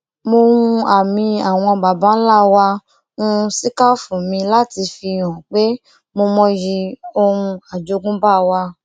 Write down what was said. mo hun àmì àwọn baba ńlá wa hun síkáàfù mi láti fi hàn pé mo mọyì ohún àjogúnbá wa